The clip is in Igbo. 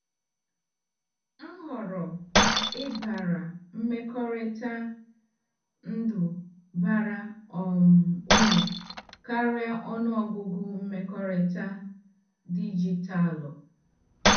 M họọrọ ịbara mmekọrịta ndụ bara um uru karịa ọnụ ọgụgụ mmekọrịta dijitalụ.